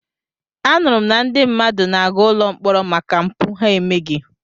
Anụrụ m na ndị mmadụ na-aga ụlọ mkpọrọ maka mpụ ha emeghị.